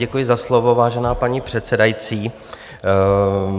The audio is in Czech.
Děkuji za slovo, vážená paní předsedající.